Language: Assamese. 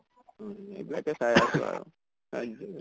অহ এইবিলাকে চাই আছো আৰু।